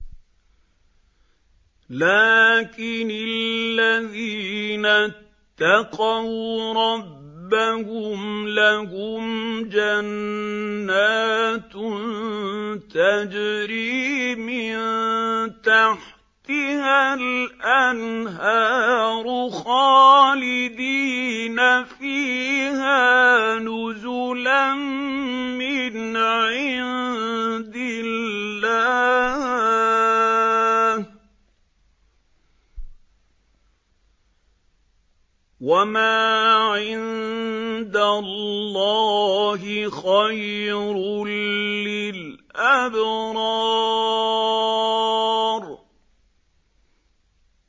لَٰكِنِ الَّذِينَ اتَّقَوْا رَبَّهُمْ لَهُمْ جَنَّاتٌ تَجْرِي مِن تَحْتِهَا الْأَنْهَارُ خَالِدِينَ فِيهَا نُزُلًا مِّنْ عِندِ اللَّهِ ۗ وَمَا عِندَ اللَّهِ خَيْرٌ لِّلْأَبْرَارِ